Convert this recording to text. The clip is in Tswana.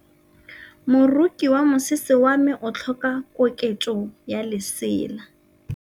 Moroki wa mosese wa me o tlhoka koketsô ya lesela.